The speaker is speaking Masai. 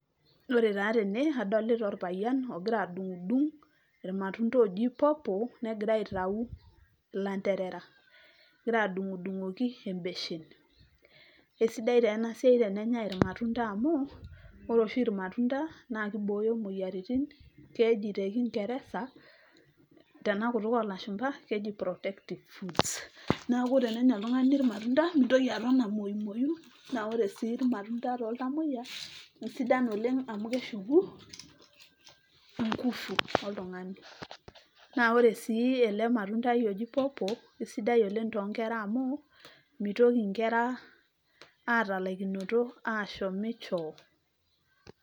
Ore taa tene, adolita orpayian, ogira adung'dung irmatunda oji pawpaw, negira aitau lanterera. Egira adung'dung'oki ebeshen. Kesidai taa enasiai tenenyai irmatunda amu, ore oshi irmatunda, na kibooyo moyiaritin, keji tekingeresa, tenakutuk olashumpa, keji protective foods. Neeku tenenya oltung'ani irmatunda, mintoki aton amayumoyu, na ore si irmatunda toltamoyia, kesidan oleng' amu keshuku, ingufu oltung'ani. Na ore si ele matundai oji pawpaw, kesidai oleng' tonkera amu, mitoki nkera atalaikinoto ashomi choo.